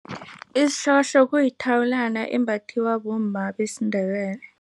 Isihlohlo kuyithawulana embathiwa bomma besiNdebele.